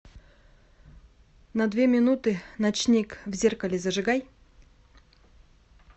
на две минуты ночник в зеркале зажигай